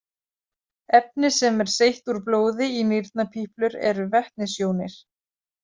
Efni sem er seytt úr blóði í nýrnapíplur eru vetnisjónir.